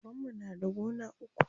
Babanmu na da gona uku.